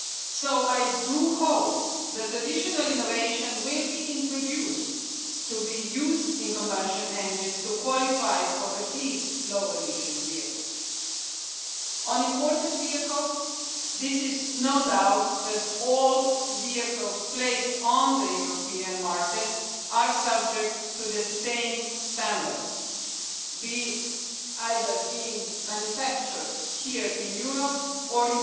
So I do hope that additional innovation will be introduced, for use in combustion engines to qualify for at least low emission vehicles. On imported vehicles there is no doubt that all vehicles placed on the European market are subject to the same standards, either being manufactured here in Europe or